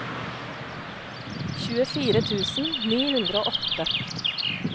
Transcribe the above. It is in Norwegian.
tjuefire tusen ni hundre og åtte